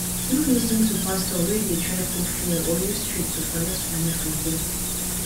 no lis ten to pastor wey de try put fear or use trick to collect money from pipo